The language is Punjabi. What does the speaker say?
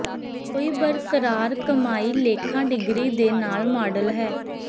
ਕੋਈ ਬਰਕਰਾਰ ਕਮਾਈ ਲੇਖਾ ਡਿਗਰੀ ਦੇ ਨਾਲ ਮਾਡਲ ਹੈ